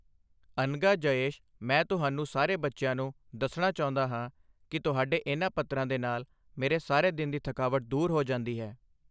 ਅਨਘਾ, ਜਯੇਸ਼ ਮੈਂ ਤੁਹਾਨੂੰ ਸਾਰੇ ਬੱਚਿਆਂ ਨੂੰ ਦੱਸਣਾ ਚਾਹੁੰਦਾ ਹਾਂ ਕਿ ਤੁਹਾਡੇ ਇਨ੍ਹਾਂ ਪੱਤਰ੍ਹਾਂ ਦੇ ਨਾਲ ਮੇਰੀ ਸਾਰੇ ਦਿਨ ਦੀ ਥਕਾਵਟ ਦੂਰ ਹੋ ਜਾਂਦੀ ਹੈ।